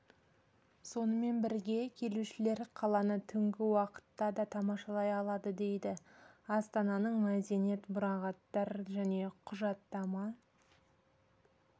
сонымен бірге келушілер қаланы түнгі уақытта да тамашалай алады дейді астананың мәдениет мұрағаттар және құжаттама